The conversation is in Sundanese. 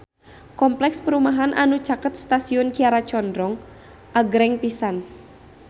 Kompleks perumahan anu caket Stasiun Kiara Condong agreng pisan